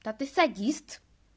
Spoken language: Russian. да ты садист